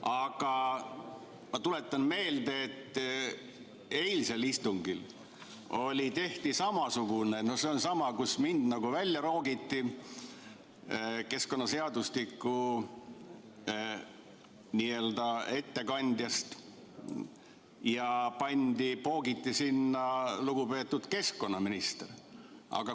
Aga ma tuletan meelde, et eilsel istungil oli samasugune olukord, kui mind roogiti välja keskkonnaseadustiku ettekandja kohalt ja sinna poogiti lugupeetud keskkonnaminister.